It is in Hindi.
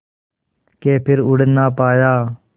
के फिर उड़ ना पाया